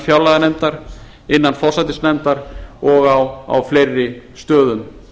fjárlaganefndar innan forsætisnefndar og á fleiri stöðum